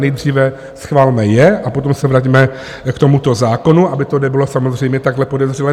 Nejdříve schvalme je a potom se vraťme k tomuto zákonu, aby to nebylo samozřejmě takhle podezřelé.